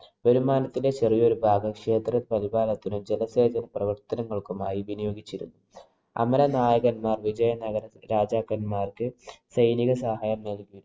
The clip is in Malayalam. വരുമാനത്തിന്‍റെ ചെറിയ ഒരു ഭാഗം ക്ഷേത്ര സംവിധാനത്തിനും, ജലസേചന പ്രവര്‍ത്തനങ്ങള്‍ക്കുമായി വിനിയോഗിച്ചിരുന്നു. അമരനായകന്മാര്‍ വിജയനഗരരാജാക്കന്മാര്‍ക്ക് സൈനിക സഹായം നല്‍കി.